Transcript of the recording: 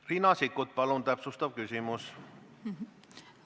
Riina Sikkut, palun täpsustav küsimus!